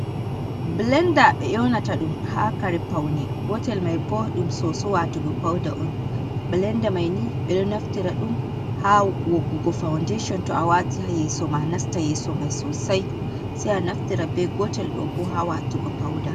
Bilenda ɓe yonata ɗum ha Kare paune, gotel mai bo ho ɗum soso watugo pauda on. bilenda mai ni ɓeɗo naftira ɗum ha woggugo faundation to a wati ha yeso ma nasta yeso mai sosai, sai a naftira bei gotel ɗo bo ha watugo pauda.